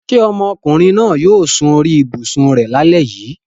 Ṣé ọmọkùnrin yóò sun orí ibùsùn rẹ lálẹ́ yìí?